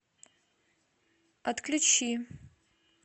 отключи